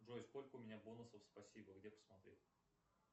джой сколько у меня бонусов спасибо где посмотреть